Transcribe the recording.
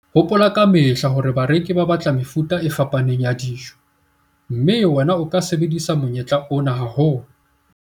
Hopola ka mehla hore bareki ba batla mefuta e fapaneng ya dijo, mme wena o ka sebedisa monyetla ona haholo.